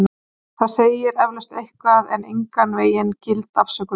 Það segir eflaust eitthvað en er engan vegin gild afsökun.